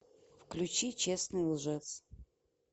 включи честный лжец